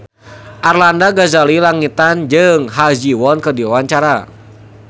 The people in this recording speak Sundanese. Arlanda Ghazali Langitan jeung Ha Ji Won keur dipoto ku wartawan